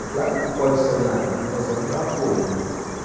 É claro que pode sonhar, nós vamos dar apoio.